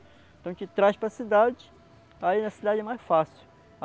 Então, a gente traz para a cidade, aí na cidade é mais fácil.